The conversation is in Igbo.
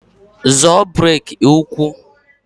Zọọ breki ụkwụ!